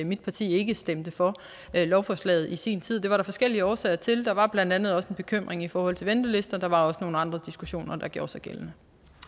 mit parti ikke stemte for lovforslaget i sin tid det var der forskellige årsager til der var blandt andet også en bekymring i forhold til ventelister der var også nogle andre diskussioner der gjorde sig gældende